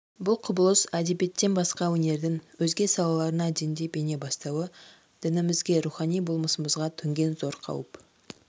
бұл құбылыс әдебиеттен басқа өнердің өзге салаларына дендеп ене бастауы дінімізге рухани болмысымызға төнген зор қауіп